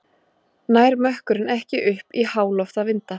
Nær mökkurinn ekki upp í háloftavinda